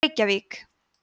reykjavík